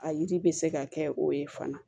A yiri bɛ se ka kɛ o ye fana